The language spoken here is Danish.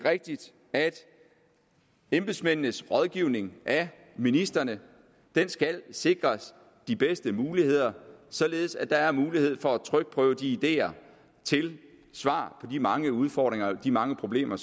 rigtigt at embedsmændenes rådgivning af ministrene skal sikres de bedste muligheder således at der er mulighed for at trykprøve de ideer til svar på de mange udfordringer og de mange problemer